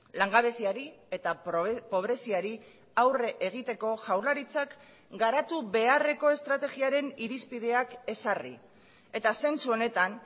langabeziari eta pobreziari aurre egiteko jaurlaritzak garatu beharreko estrategiaren irizpideak ezarri eta zentzu honetan